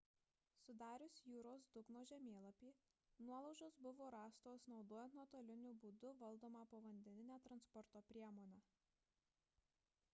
sudarius jūros dugno žemėlapį nuolaužos buvo rastos naudojant nuotoliniu būdu valdomą povandeninę transporto priemonę